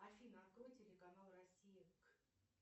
афина открой телеканал россия к